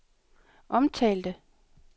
omtalte